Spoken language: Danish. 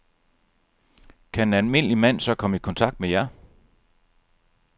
Kan en almindelig mand så komme i kontakt med jer?